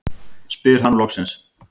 spyr hann loksins.